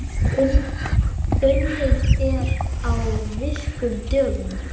Unnið er á virkum dögum.